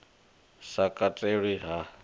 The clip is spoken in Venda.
sa katelwi ha u ḓitika